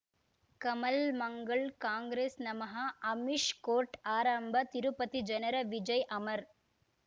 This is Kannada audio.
ಕಮಲ್ ಮಂಗಳ್ ಕಾಂಗ್ರೆಸ್ ನಮಃ ಅಮಿಷ್ ಕೋರ್ಟ್ ಆರಂಭ ತಿರುಪತಿ ಜನರ ವಿಜಯ್ ಅಮರ್